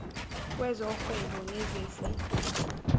wezo whebo nezezi